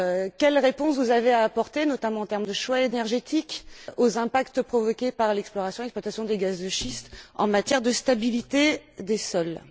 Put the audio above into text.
Quelle réponse avez vous à apporter, notamment en termes de choix énergétique, aux impacts provoqués par l'exploration et l'exploitation des gaz de schiste en matière de stabilité des sols?